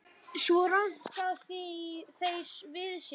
Svo ranka þeir við sér.